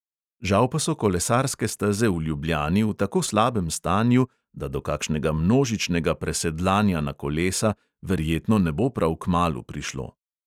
Žal pa so kolesarske steze v ljubljani v tako slabem stanju, da do kakšnega množičnega presedlanja na kolesa verjetno ne bo prav kmalu prišlo.